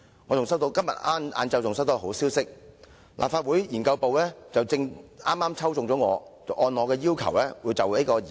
我今天下午還收到好消息，就是立法會研究部抽中我的題目展開研究。